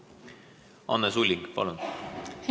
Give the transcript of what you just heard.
Anne Sulling, palun!